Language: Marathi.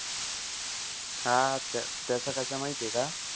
हां त्याचं कसंय माहितीय का?